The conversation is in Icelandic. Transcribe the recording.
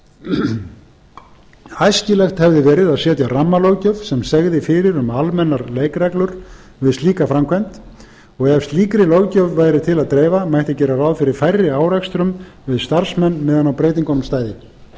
árum æskilegt hefði verið að setja rammalöggjöf sem segði fyrir um almennar leikreglur við slíka framkvæmd og ef slíkri löggjöf væri til að dreifa mætti gera ráð fyrir færri árekstrum við starfsmenn meðan á breytingunum stæði